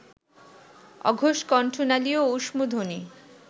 অঘোষ কণ্ঠনালীয় ঊষ্মধ্বনি